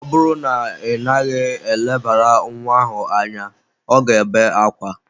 Ọ bụrụ na ị naghị elebara nwa ahụ anya, ọ ga-ebe akwa.